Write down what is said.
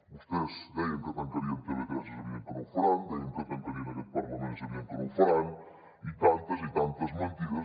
vostès deien que tancarien tv3 és evident que no ho faran deien que tancarien aquest parlament és evident que no ho faran i tantes i tantes mentides